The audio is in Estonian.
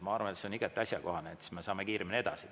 Ma arvan, et see on igati asjakohane, siis me saame kiiremini edasi.